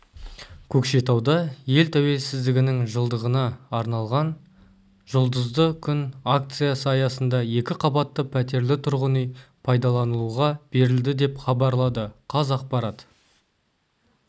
көкшетауда ел туелсіздігінің жылдығына арналған жұлдызды күн акциясы аясында екі қабатты пәтерлі тұрғын үй пайдалануға берілді деп хабарлады қазақпарат